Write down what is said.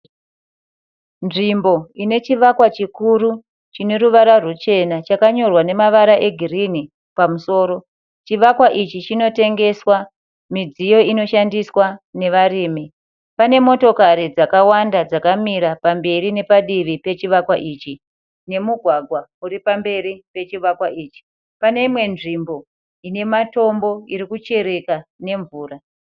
Nzvimbo inechivakwa chikuru chineruvara rwuchena chakanyorwa nemavara egirini, chivakwa ichi chinotengeswa midziyo inoshandiswa nevarimi. Panemotokari dzakawanda dzakamira pamberi nepadivi pechivakwa ichi, pane imwe nzvimbo irikuchireka nemvura.